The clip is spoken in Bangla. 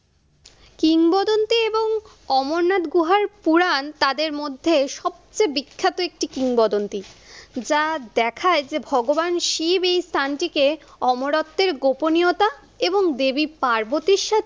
কিংবদন্তী এবং অমরনাথ গুহার পুরান তাদের মধ্যে সবচেয়ে বিখ্যাত একটি কিংবদন্তী। যা দেখায় যে ভগবান শিব এই স্থানটিকে অমরত্বের গোপনীয়তা এবং দেবী পার্বতীর সাথে